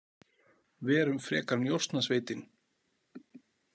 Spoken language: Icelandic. Verum frekar Njósnasveitin.